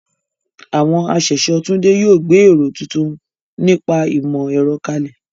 Àwọn aṣẹ̀ṣọ́ Tunde yóò gbé èrò tuntun nípa ìmọ̀ ẹ̀rọ kalẹ̀.